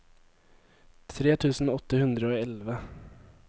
tre tusen åtte hundre og elleve